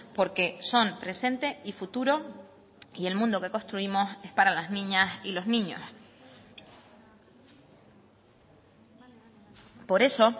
porque son presente y futuro y el mundo que construimos es para las niñas y los niños por eso